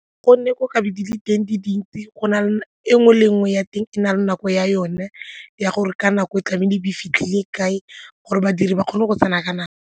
Go ne go ka be di le teng di dintsi e nngwe le nngwe ya teng e na le nako ya yone ya gore ka nako e tlabeng e fitlhile kae gore badiri ba kgone go tsena ka nako.